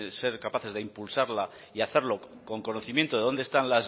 ser capaces de impulsarla y hacerlo con conocimiento de dónde están